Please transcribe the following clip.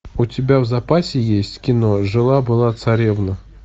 у тебя в запасе есть кино жила была царевна